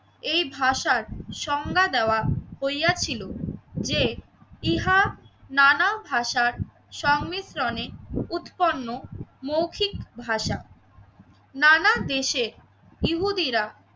এই ভাষার সংজ্ঞা দেওয়া হইয়াছিল যে ইহা নানা ভাষার সংমিশ্রণে উৎপন্ন মৌখিক ভাষা। নানান দেশে ইহুদিরা